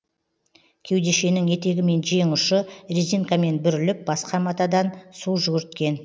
кеудешенің етегі мен жең ұшы резинкамен бүріліп басқа матадан су жүгірткен